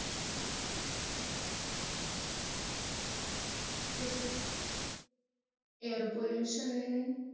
तिचाच्. air pollution